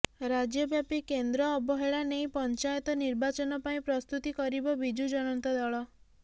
ରାଜ୍ୟବ୍ୟାପୀ କେନ୍ଦ୍ର ଅବହେଳା ନେଇ ପଂଚାୟତ ନିର୍ବାଚନ ପାଇଁ ପ୍ରସ୍ତୁତି କରିବ ବିଜୁ ଜନତା ଦଳ